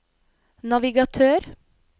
navigatør